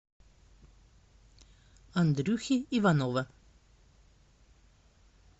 андрюхи иванова